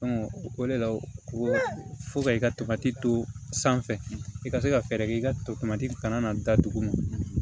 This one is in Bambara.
o de la ko fo ka i ka topatiti to sanfɛ i ka se ka fɛɛrɛ kɛ i ka tomati kana na datugu